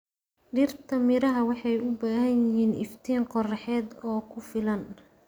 Dhirta miraha waxay u baahan yihiin iftiin qoraxeed oo ku filan.